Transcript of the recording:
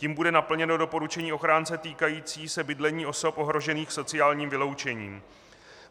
Tím bude naplněno doporučení ochránce týkající se bydlení osob ohrožených sociálním vyloučením.